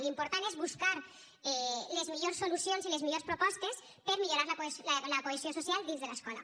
l’important és buscar les millors solucions i les millors propostes per millorar la cohesió social dins de l’escola